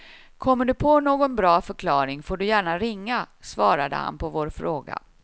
Kommer du på någon bra förklaring får du gärna ringa, svarade han på vår fråga.